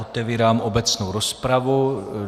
Otevírám obecnou rozpravu.